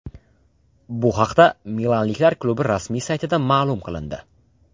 Bu haqda milanliklar klubi rasmiy saytida ma’lum qilindi .